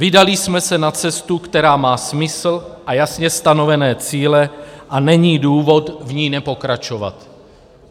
Vydali jsme se na cestu, která má smysl a jasně stanovené cíle, a není důvod v ní nepokračovat.